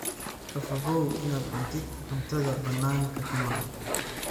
Ka fogow inaad cuntid cuntada bannaanka ka maqan.